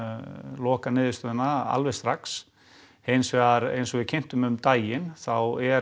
lokaniðurstöðuna alveg strax hins vegar eins og við kynntum um daginn þá er